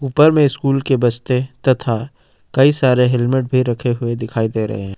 उपर में स्कूल के बस्ते तथा कई सारे हेलमेट भी रखे हुए दिखाई दे रहे हैं।